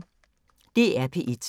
DR P1